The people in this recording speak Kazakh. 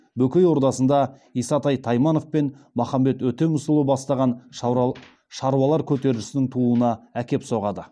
бөкей ордасында исатай тайманов пен махамбет өтемісұлы бастаған шаруалар көтерілісінің тууына әкеп соғады